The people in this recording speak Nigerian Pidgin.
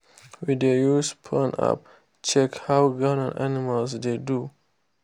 we dey use phone app check how ground and animals dey do.